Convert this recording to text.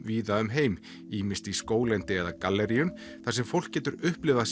víða um heim ýmist í skóglendi eða galleríum þar sem fólk getur upplifað